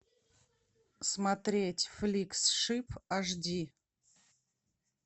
смотреть фликс шип ашди